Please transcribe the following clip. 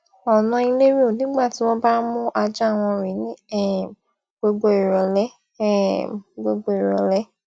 ọnà elero nigba ti won ba n mu aja won rin ni um gbogbo irole um gbogbo irole